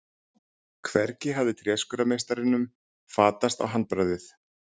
Hvergi hafði tréskurðarmeistaranum fatast handbragðið.